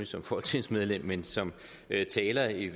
som folketingsmedlem men som taler i